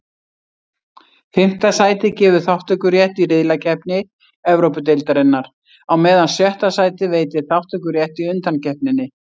Fimmta sætið gefur þátttökurétt í riðlakeppni Evrópudeildarinnar, á meðan sjötta sætið veitir þátttökurétt í undankeppninni.